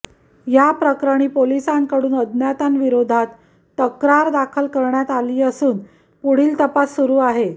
या प्रकरणी पोलिसांकडून अज्ञातांविरोधात तक्रार दाखल करण्यात आली असून पुढील तपास सुरू आहे